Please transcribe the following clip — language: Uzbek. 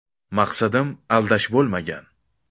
Maqsadim aldash bo‘lmagan.